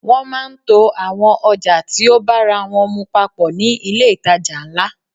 Wọ́n máà ń to àwọn ọjà tí o bára wọ́n mu papọ̀ ní ilé ìtajà ńlá.